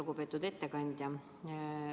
Lugupeetud ettekandja!